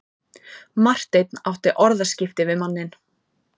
Marteinn átti orðaskipti við manninn.